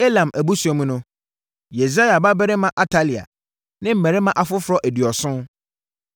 Elam abusua mu no: Yesaia babarima Atalia ne mmarima afoforɔ aduɔson.